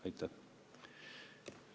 Aitäh!